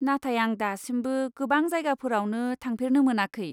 नाथाय आं दासिमबो गोबां जायगाफोरावनो थांफेरनो मोनाखै।